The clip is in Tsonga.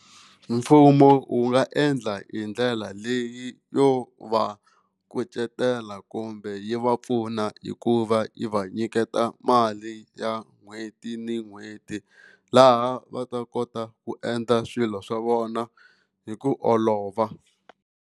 Mfumo wu nga endla hi ndlela leyi yo va kucetela kumbe yi va pfuna hikuva yi va nyiketa mali ya n'hweti ni n'hweti laha va ta kota ku endla swilo swa vona hi ku olova.